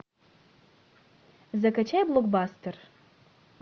закачай блокбастер